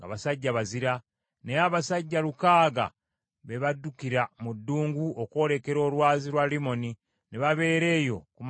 Naye abasajja lukaaga be baddukira mu ddungu okwolekera olwazi lwa Limoni, ne babeera eyo okumala emyezi ena.